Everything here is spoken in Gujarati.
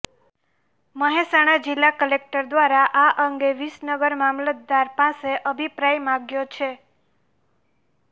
મહેસાણા જિલ્લા કલેક્ટર દ્વારા આ અંગે વિસનગર મામલતદાર પાસે અભિપ્રાય માંગ્યો છે